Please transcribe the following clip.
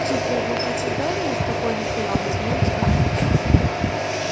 хитрое глупое создание спокойно стояла на своём скарлетт